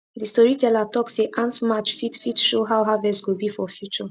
the storyteller talk say ant march fit fit show how harvest go be for future